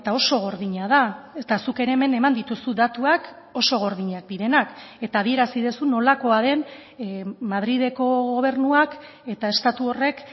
oso gordina da eta zuk ere hemen eman dituzu datuak oso gordinak direnak eta adierazi duzu nolakoa den madrileko gobernuak eta estatu horrek